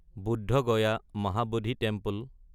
Badh Gaya (Mahabodhi temple)